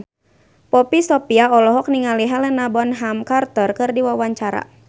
Poppy Sovia olohok ningali Helena Bonham Carter keur diwawancara